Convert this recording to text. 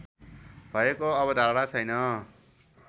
भएको अवधारणा छैन